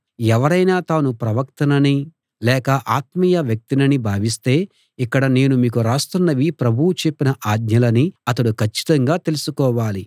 ఎవరైనా తాను ప్రవక్తననీ లేక ఆత్మీయ వ్యక్తిననీ భావిస్తే ఇక్కడ నేను మీకు రాస్తున్నవి ప్రభువు చెప్పిన ఆజ్ఞలని అతడు కచ్చితంగా తెలుసుకోవాలి